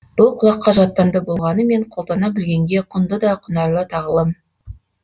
бұл құлаққа жаттанды болғанымен қолдана білгенге құнды да құнарлы тағылым